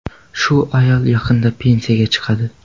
Shu ayol yaqinda pensiyaga chiqadi.